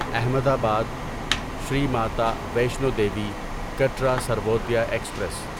احمد آباد شری ماتا ویشنو دیوی کٹرا سروودے ایکسپریس